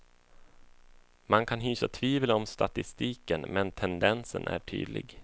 Man kan hysa tvivel om statistiken, men tendensen är tydlig.